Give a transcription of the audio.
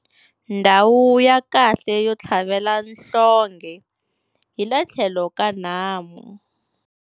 Ndhawu ya kahle yo tlhavela nhlonghe hi le tlhelo ka nhamu.